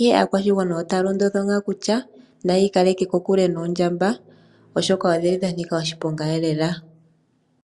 Ihe aakwashigwana otaa londodhwa ngaa kutya naya ikaleke kokuke noondjamba. oshoka odhili dha nika oshiponga eelela.